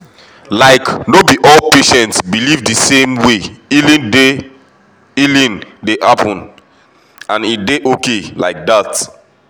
like no be all patients believe the same way healing dey healing dey happen — and e dey okay like that.